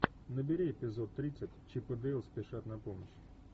набери эпизод тридцать чип и дейл спешат на помощь